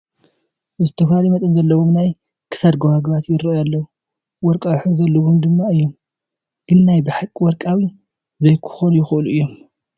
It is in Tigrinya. ዝተፈላለየ መጠን ዘለዎም ናይ ክሳድ ጐባጉባት ይርአዩ ኣለዉ፡፡ ወርቃዊ ሕብሪ ዘለዎም ድማ እዮም፡፡ ግን ናይ በሓቂ ወርቂ ዘይክኾኑ ይኽእሉ እዮም፡፡